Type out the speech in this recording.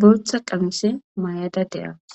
boltha qamise may7ada deawus